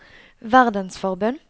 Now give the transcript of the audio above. verdensforbund